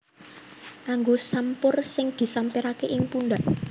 Nganggo sampur sing disampiraké ing pundhak